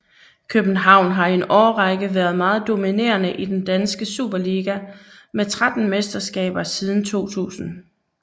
København har i en årrække været meget dominerende i den danske Superliga med tretten mesterskaber siden 2000